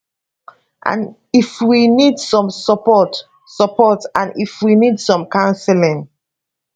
if we need some support support and if we need some counselling